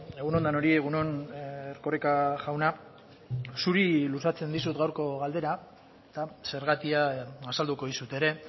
egun on denoi egun on erkoreka jauna zuri luzatzen dizut gaurko galdera eta zergatia azalduko dizut ere